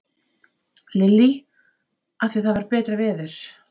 Lillý: Af því að það var betra veður?